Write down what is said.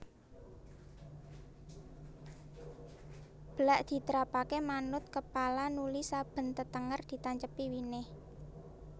Blak ditrapake manut kepala nuli saben tetenger ditancepi winih